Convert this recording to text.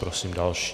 Prosím další.